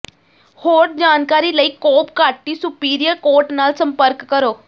ਹੋਰ ਜਾਣਕਾਰੀ ਲਈ ਕੋਬ ਕਾਟੀ ਸੁਪੀਰੀਅਰ ਕੋਰਟ ਨਾਲ ਸੰਪਰਕ ਕਰੋ